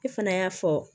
E fana y'a fɔ